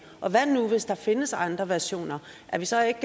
hvad nu hvis der findes andre versioner er vi så ikke